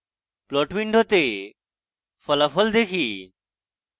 plot window ফলাফল দেখি